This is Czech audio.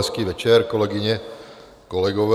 Hezký večer, kolegyně, kolegové.